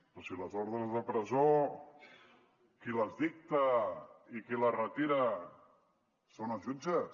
ah però si les ordres de presó qui les dicta i qui les retira són els jutges